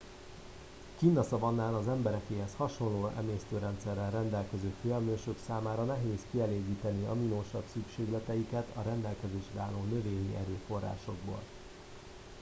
kinn a szavannán az emberekéhez hasonló emésztőrendszerrel rendelkező főemlősök számára nehéz kielégíteni aminosav szükségleteiket a rendelkezésre álló növényi erőforrásokból